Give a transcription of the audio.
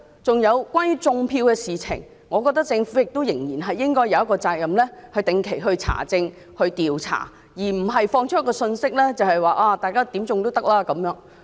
此外，就"種票"的問題，我認為政府有責任定期查證和調查，而不是發放可以任意"種票"的信息。